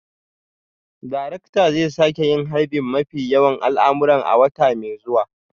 Darakta zai sake yin harbin mafi yawan al'amuran a wata mai zuwa